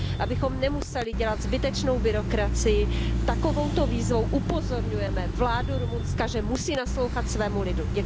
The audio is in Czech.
Abychom nemuseli dělat zbytečnou byrokracii, takovouto výzvou upozorňujeme vládu Rumunska, že musí naslouchat svému lidu.